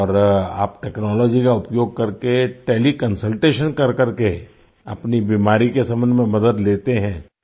और आप टेक्नोलॉजी का उपयोग करके टेलीकंसल्टेशन करकर के अपनी बीमारी के संबंध में मदद लेते हैं